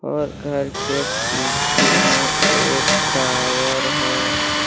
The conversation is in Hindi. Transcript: और घर के पीछे में एक टॉवर है।